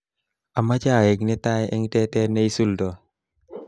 Amoche aek netai eng tetet neisuldoi